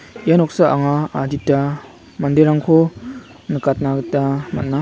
ia noksa anga adita manderangko nikatna gita man·a.